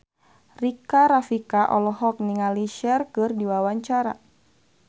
Rika Rafika olohok ningali Cher keur diwawancara